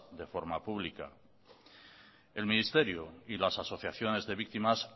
de forma pública el ministerio y las asociaciones de víctimas